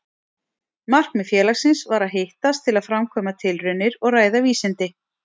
Markmið félagsins var að hittast til að framkvæma tilraunir og ræða vísindi.